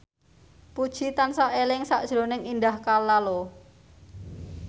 Puji tansah eling sakjroning Indah Kalalo